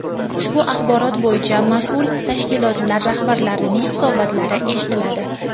Ushbu axborot bo‘yicha mas’ul tashkilotlar rahbarlarining hisobotlari eshitiladi.